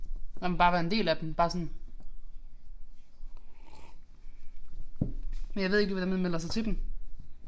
Nej men bare være en del af dem. Bare sådan men jeg ved ikke lige hvordan man melder sig til dem